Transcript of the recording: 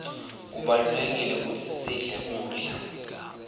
kubalulekile kutsi sidle kudla